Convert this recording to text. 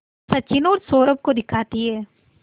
सचिन और सौरभ को दिखाती है